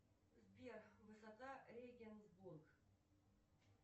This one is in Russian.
сбер высота регенсбург